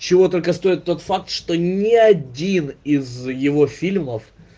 чего только стоит тот факт что ни один из его фильмов